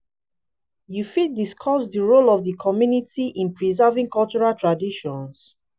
you fit discuss di role of di community in preserving cultural traditions?